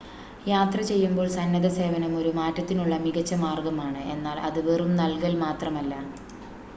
യാത്ര ചെയ്യുമ്പോൾ സന്നദ്ധസേവനം ഒരു മാറ്റത്തിനുള്ള മികച്ച മാർഗമാണ് എന്നാൽ അത് വെറും നൽകൽ മാത്രമല്ല